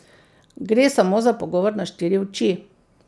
Gre samo za pogovor na štiri oči.